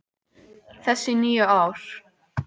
þess í níu ár.